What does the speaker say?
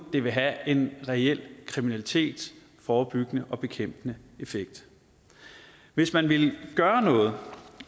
det vil have en reel kriminalitetsforebyggende og bekæmpende effekt hvis man vil gøre noget